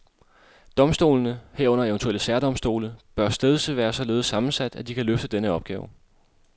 Domstolene, herunder eventuelle særdomstole, bør stedse været således sammensat, at de kan løfte denne opgave.